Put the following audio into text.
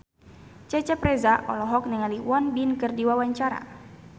Cecep Reza olohok ningali Won Bin keur diwawancara